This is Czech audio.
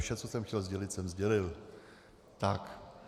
Vše, co jsem chtěl sdělit, jsem sdělil.